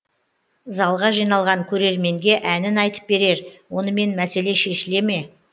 залға жиналған көрерменге әнін айтып берер онымен мәселе шешіле ме